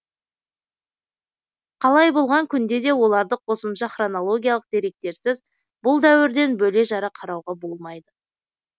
қалай болған күнде де оларды қосымша хронологиялық деректерсіз бұл дәуірден бөле жара қарауға болмайды